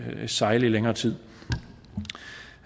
at sejle i længere tid